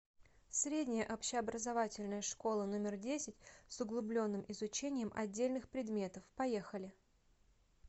средняя общеобразовательная школа номер десять с углубленным изучением отдельных предметов поехали